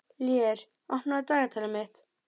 Lér, opnaðu dagatalið mitt.